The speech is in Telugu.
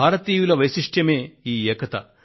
భారతీయుల వైశిష్ట్యమే ఈ ఏకత